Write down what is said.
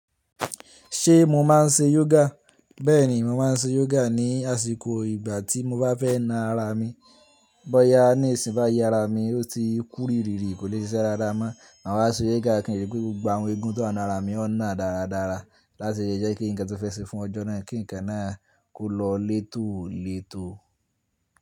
Ṣé mo máa ń ṣe yoga? Bẹ́ẹ̀ni, mo máa ń ṣe yoga ní àsìkò ìgbà tí mo bá fẹ́ na ara mi. Bóyá níìsín bá yi ara mi ó ti kúrìrìrì kò lè ṣe iṣẹ́ dáadáa mọ́. Màá wá ṣe yoga kí n rí pé gbogbo àwọn eegun tó wá ninu ara mi ọ́ náà dáradára láti lè jẹ́ kí ǹkan ti mo fẹ́ ṣe fún ọjọ́ náà kí ǹkan náà kó lọ létòlètò.